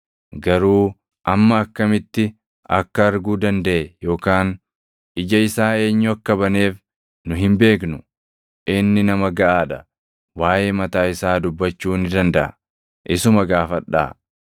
Garuu amma akkamitti akka arguu dandaʼe yookaan ija isaa eenyu akka baneef nu hin beeknu. Inni nama gaʼaa dha; waaʼee mataa isaa dubbachuu ni dandaʼa; isuma gaafadhaa.”